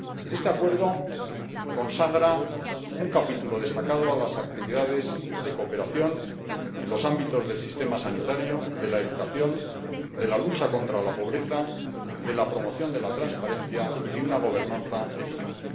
Este Acuerdo consagra un capítulo destacado a las actividades de cooperación en los ámbitos del sistema sanitario, de la educación, de la lucha contra la pobreza, de la promoción de la transparencia y de una gobernanza eficaz.